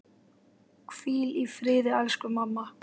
Hvíl í friði, elsku mamma.